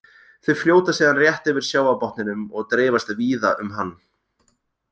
Þau fljóta síðan rétt yfir sjávarbotninum og dreifast víða um hann.